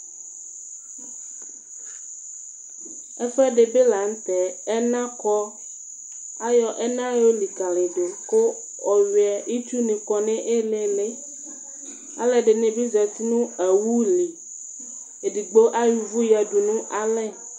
Ɛfʋɛdi bi lanʋtɛ ɛnakɔ, ayɔ ɛna yolikalidʋ kʋ ɔwiɛ itsuni kɔnʋ iili Alʋɛdini be zati nʋ awʋli edigbo ayɔ ʋvʋ yadʋ nʋ alɛ